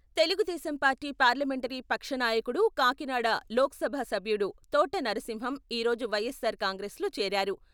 Telugu Desam Desam party parliamentary పక్ష నాయకుడు, కాకినాడ లోక్సభ సభ్యుడు తోట నరసింహం ఈ రోజు వైఎస్సార్ కాంగ్రెస్లో చేరారు.